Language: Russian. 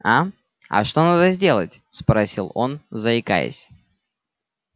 а а что надо сделать спросил он заикаясь